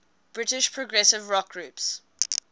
british progressive rock groups